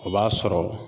O b'a sɔrɔ